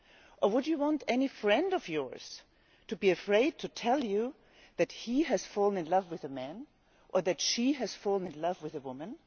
Or would you want any friend of yours to be afraid to tell you that he has fallen in love with a man or that she has fallen in love with a woman?